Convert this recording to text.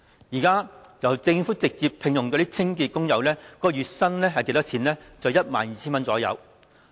現在政府直接聘用的清潔工友月薪大約 12,000 元。